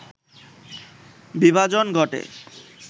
বিভাজন ঘটে